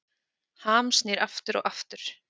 Ham snýr aftur og aftur